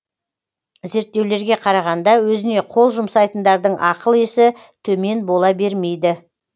зерттеулерге қарағанда өзіне қол жұмсайтындардың ақыл есі төмен бола бермейді